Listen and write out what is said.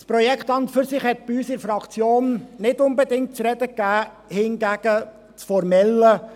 Das Projekt an und für sich hat bei uns in der Fraktion nicht unbedingt zu reden gegeben, hingegen das Formelle: